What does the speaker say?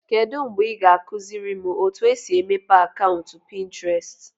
Kedu mgbe ị ga-akụziri m otu esi emepe akaụntụ Pinterest?